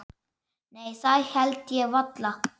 Nei það held ég varla.